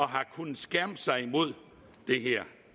har kunnet skærme sig imod det